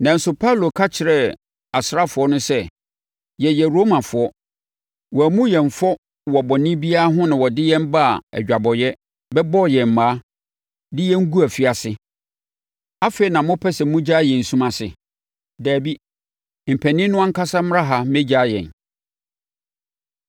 Nanso, Paulo ka kyerɛɛ asraafoɔ no sɛ, “Yɛyɛ Romafoɔ. Wɔammu yɛn fɔ wɔ bɔne biara ho na wɔde yɛn baa adwabɔeɛ, bɛbɔɔ yɛn mmaa, de yɛn guu afiase. Afei na mopɛ sɛ mogyaa yɛn sum ase? Dabi! Mpanin no ankasa mmra ha mmɛgyaa yɛn.”